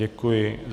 Děkuji.